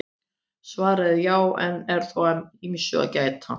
Svarið er já en þó er að ýmsu að gæta.